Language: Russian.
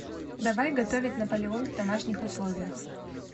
давай готовить наполеон в домашних условиях